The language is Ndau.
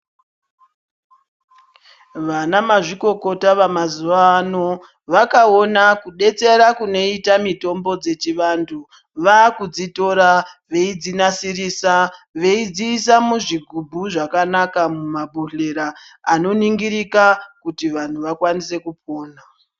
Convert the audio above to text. Vana mazvikokota vama zuva ano vakaona kubetsera kunoita mitombo dzechi vandu vaku dzitora veidzi nasirisa veidzisa muzvigubhu zvakanaka muma bhodhlera ano ningirika kuti vantu vakwanise kupona.